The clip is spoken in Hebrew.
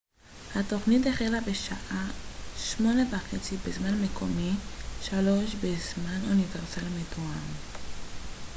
התוכנית החלה בשעה 20:30 בזמן מקומי 15:00 בזמן אוניברסלי מתואם